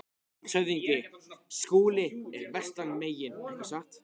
LANDSHÖFÐINGI: Skúli er vestan megin, ekki satt?